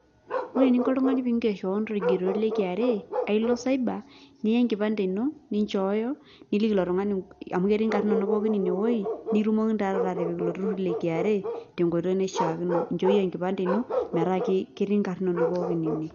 Ore eninko oltung'ani piger keon torkigeroto le KRA, ailo cyber ,nia enkipande ino, ninchooyo, niliki ilo tung'ani amu ketii inkarn inonok pookin inewoi, nikitumokini ta taata atipik ilo turrurr le KRA, tenkoitoi naishaakino. Inchooyie enkipande ino, metaa ketii nkarn inonok ine.